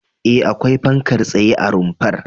E, akwai fankar tsaye a rumfar.